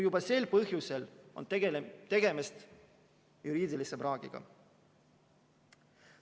Juba sel põhjusel on tegemist juriidilise praagiga.